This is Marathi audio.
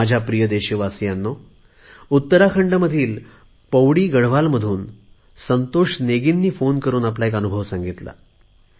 माझ्या प्रिय देशवासियांनो उत्तराखंडमधील पौडी गढवाल मधून संतोष नेगीजींनी फोन करुन आपला एक अनुभव सांगितला